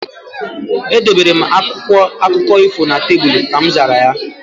Edobere m akwụkwọ akụkọ ifo na tebụl. Ka mzara ya